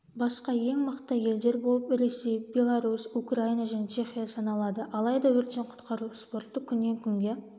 басқа ең мықты елдер болып ресей беларусь украина және чехия саналады алайда өрттен-құтқару спорты күннен-күнге